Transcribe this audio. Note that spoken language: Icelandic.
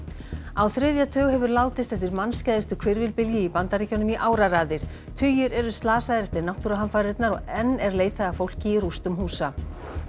á þriðja tug hefur látist eftir mannskæðustu hvirfilbylji í Bandaríkjunum í áraraðir tugir eru slasaðir eftir náttúruhamfarirnar og enn er leitað að fólki í rústum húsa